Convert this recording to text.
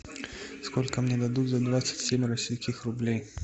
сколько мне дадут за двадцать семь российских рублей